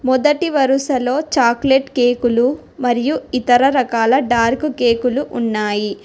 మొదటి వరుసలో చాక్లెట్ కేకులు మరియు ఇతర రకాల డార్క్ కేకులు ఉన్నాయి.